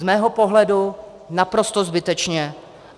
Z mého pohledu naprosto zbytečně.